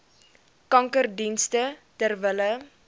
kankerdienste ter wille